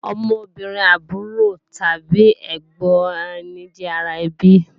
Ọmọbìnrin àbúrò tàbí ẹ̀gbọ̀n ẹni jẹ́ ara ẹbí